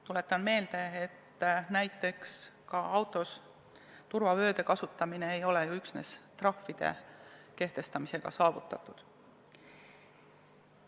Tuletan meelde, et näiteks autos turvavööde kasutamine ei ole üksnes trahvide kehtestamisega saavutatud.